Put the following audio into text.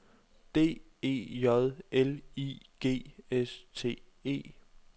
D E J L I G S T E